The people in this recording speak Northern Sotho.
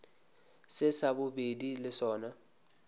se sa bobedi le sona